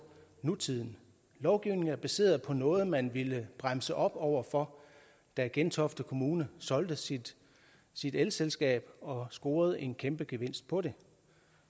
nutiden lovgivningen er baseret på noget man ville bremse op over for da gentofte kommune solgte sit sit elselskab og scorede en kæmpe gevinst på det